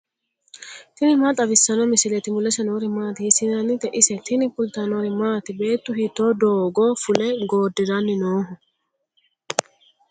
tini maa xawissanno misileeti ? mulese noori maati ? hiissinannite ise ? tini kultannori maati? Beettu hiitto doogo fule goodiranni nooho?